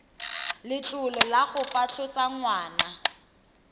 letlole la go fatlhosa ngwana